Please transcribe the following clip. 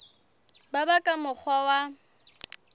ka ba ka mokgwa wa